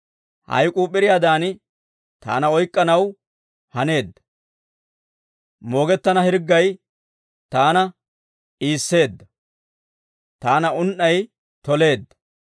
Hayk'k'uu p'iriyaadan taana oyk'k'anaw haneedda; moogettana hirggay taana iisseedda. Taana un"ay toleedda.